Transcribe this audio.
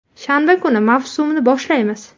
Shanba kuni mavsumni boshlaymiz.